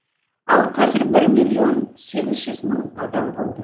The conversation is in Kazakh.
ал қазір бір миллион сегіз жүз мың адам болды